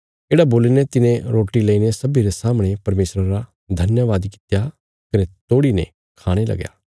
येढ़ा बोलीने तिने रोटी लईने सब्बी रे सामणे परमेशरा रा धन्यवाद कित्या कने तोड़ीने खाणे लगया